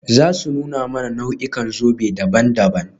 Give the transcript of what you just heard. Za su nuna mana nau'ikan zobe daban-daban.